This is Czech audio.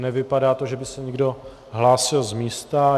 Nevypadá to, že by se někdo hlásil z místa.